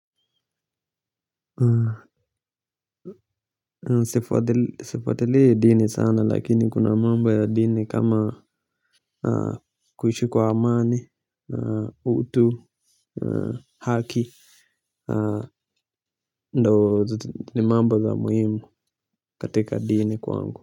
Sifuatilii dini sana lakini kuna mambo ya dini kama kuishi kwa amani na utu na haki na ndo ni mambo za muhimu katika dini kwangu.